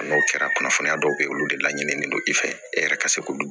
A n'o kɛra kunnafoniya dɔw bɛ ye olu de laɲininen don i fɛ e yɛrɛ ka se k'olu